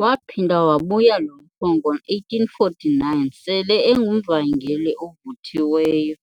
Waphinda wabuya lo mfo ngo1849 sele engumvangeli ovuthiweyo,